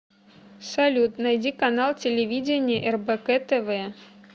салют найди канал телевидения рбк тв